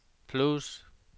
plus